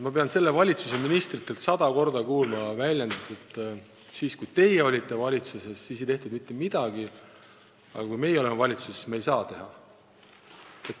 Ma pean selle valitsuse ministritelt kuulma sada korda väljendit, et kui teie olite valitsuses, siis ei tehtud mitte midagi, aga kui meie oleme valitsuses, siis me ei saa teha.